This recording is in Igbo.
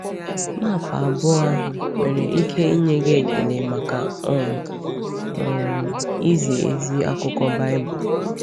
Map abụọ ahụ nwere ike inye gị ekele maka um um izi ezi akụkọ Baịbụl.